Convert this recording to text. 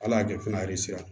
Ala y'a kɛ fana